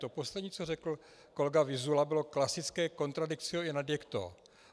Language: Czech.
To poslední, co řekl kolega Vyzula, bylo klasické contradictio in adjecto.